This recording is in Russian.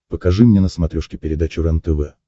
покажи мне на смотрешке передачу рентв